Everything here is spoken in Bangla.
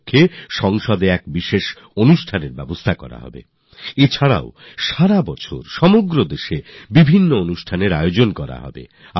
এবার এই উপলক্ষ্যে সংসদে বিশেষ অনুষ্ঠান হবে আর তারপর বর্ষব্যাপী দেশ জুড়ে আলাদা আলাদা কর্মসূচি পালিত হবে